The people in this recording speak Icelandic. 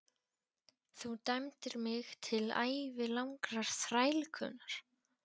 Þú dæmdir mig til ævilangrar þrælkunar!